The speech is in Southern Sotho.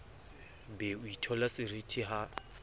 be o itheola seriti ha